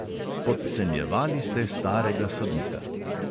Podcenjevali ste starega sodnika.